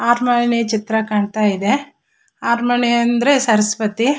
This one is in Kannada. ಆಟ್ ಮಣಿ ಚಿತ್ರ ಕಾಣತ್ತಾ ಇದೆ ಆಟ್ ಮಣಿ ಅಂದ್ರೆ ಸರಸ್ಪತಿ.